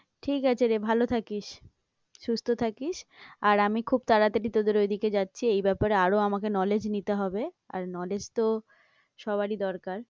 ঠিক আছে রে, ভালো থাকিস, সুস্থ থাকিস, আর আমি খুব তাড়াতাড়ি তোদের ওইদিকে যাচ্ছি, এই ব্যাপারে আরও আমাকে knowledge নিতে হবে, আর knowledge তো সবারই দরকার।